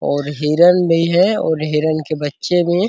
और हिरन भी है और हिरन के बच्चे भी।